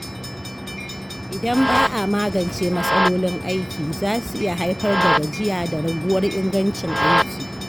Idan ba a magance matsalolin aiki, zasu iya haifar da gajiya da raguwar ingancin aiki.